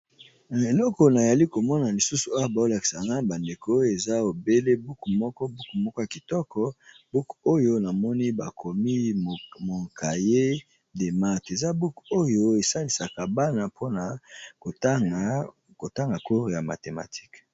Eloko nazalikomona lisusu Awa bazolakisa ngai bandeko eza buku moko ya kitoko bakomi mon cahier de mathématiques esalisa ka Bana kotanga cours ya mathématique.